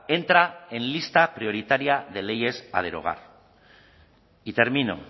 entra en lista prioritaria de leyes a derogar y termino